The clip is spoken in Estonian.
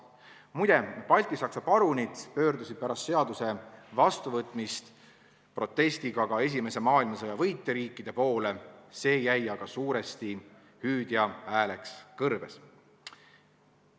Muide, baltisaksa parunid pöördusid pärast seaduse vastuvõtmist protestiga ka esimese maailmasõja võitjariikide poole, see jäi aga suuresti hüüdjaks hääleks kõrbes.